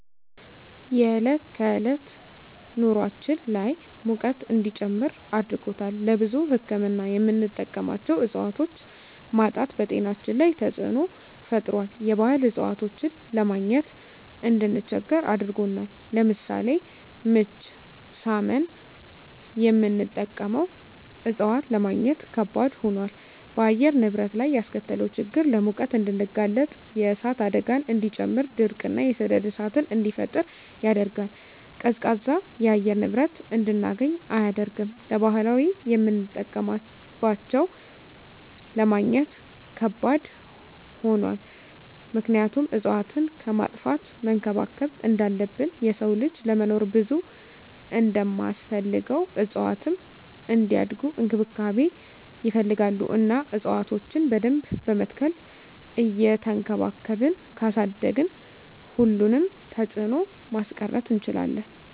የዕለት ከዕለት ኑራችን ላይ ሙቀት እንዲጨምር አድርጎታል። ለብዙ ህክምና የምንጠቀማቸው እፅዋቶች ማጣት በጤናችን ላይ ተፅዕኖ ፈጥሯል የባህል እፅዋቶችን ለማግኘት እንድንቸገር አድርጎናል። ለምሳሌ ምች ሳመን የምንጠቀመው እፅዋት ለማግኘት ከበድ ሆኗል። በአየር ንብረት ላይ ያስከተለው ችግር ለሙቀት እንድንጋለጥ የእሳት አደጋን እንዲጨምር ድርቅ እና የሰደድ እሳትን እንዲፈጠር ያደርጋል። ቀዝቃዛ የአየር ንብረት እንድናገኝ አያደርግም። ለባህላዊ የምጠቀምባቸው ለማግኘት ከባድ ሆኗል ምክንያቱም እፅዋትን ከማጥፋት መንከባከብ እንዳለብን የሰው ልጅ ለመኖር ብዙ እንደማስፈልገው እፅዋትም እንዲያድጉ እንክብካቤ ይፈልጋሉ እና እፅዋቶችን በደንብ በመትከል እየቸንከባከብን ካሳደግን ሁሉንም ተፅዕኖ ማስቀረት እንችላለን።